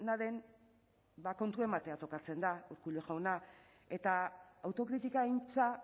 dena den ba kontua ematea tokatzen da urkullu jauna eta autokritika aintza